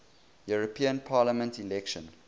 european parliament election